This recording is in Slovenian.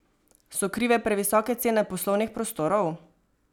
So krive previsoke cene poslovnih prostorov?